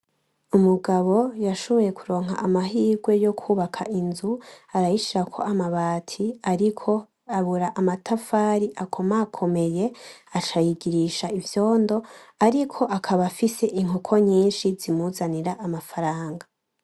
Umugabo yashoboye kuronka amahirwe yokubaka inzu arayishirako amabati ariko abura amatafari akomakomeye aca ayigirisha ivyondo ariko akaba afise inkoko nyinshi zimuzanira amafranga.